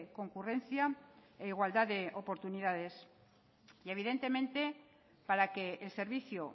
concurrencia e igualdad de oportunidades y evidentemente para que el servicio